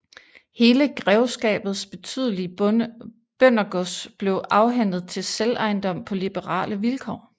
Hele grevskabets betydelige bøndergods blev afhændet til selvejendom på liberale vilkår